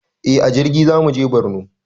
Eh a jirgi zamuje borno